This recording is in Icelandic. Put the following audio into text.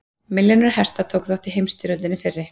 Milljónir hesta tóku þátt í heimsstyrjöldinni fyrri.